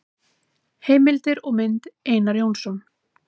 Heimildir og mynd: Einar Jónsson.